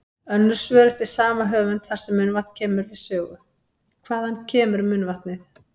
Önnur svör eftir sama höfund þar sem munnvatn kemur við sögu: Hvaðan kemur munnvatnið?